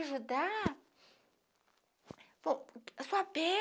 ajudar a sua